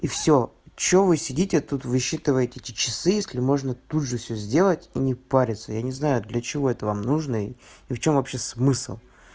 и все что вы сидите тут высчитывать эти часы если можно тут же все сделать и не париться я не знаю для чего это вам нужно и в чем вообще смысл